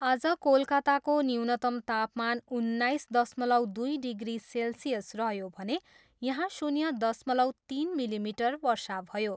आज कोलकाताको न्यूनतम तापमान उन्नाइस दशमलव दुई डिग्री सेल्सियस रह्यो भने यहाँ शून्य दशमलव तिन मिलिमिटर वर्षा भयो।